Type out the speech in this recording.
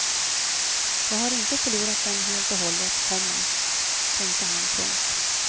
Jag har inte förlorat dem helt och hållet, komma tänkte han. punkt